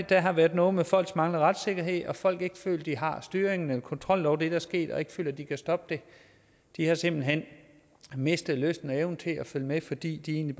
der har været noget med folks manglende retssikkerhed og om at folk ikke føler de har haft styringen eller kontrollen over det der er sket og ikke føler at de kan stoppe det de har simpelt hen mistet lysten og evnen til at følge med fordi de egentlig